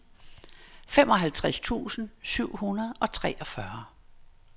femoghalvtreds tusind syv hundrede og treogfyrre